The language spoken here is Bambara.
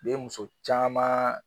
bɛ muso caman